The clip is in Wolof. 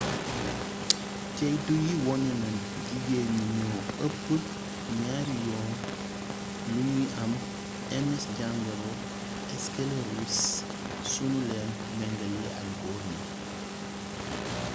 ceytu yi wone na jigéeñ ñi ñoo ëpp ñaari yoon lu ñuy am ms jàngoro skeloris su nu leen mengalee ak góor ñi